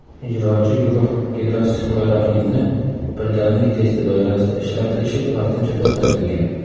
Ijrochi guruh gidroksixloroxinni Birdamlik testi doirasida ishlatilishi vaqtincha to‘xtatilgan.